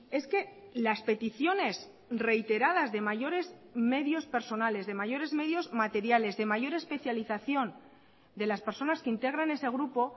es que las peticiones reiteradas de mayores medios personales de mayores medios materiales de mayor especialización de las personas que integran ese grupo